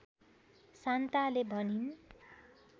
शान्ताले भनिन्